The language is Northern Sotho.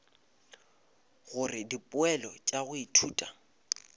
gore dipoelo tša go ithuta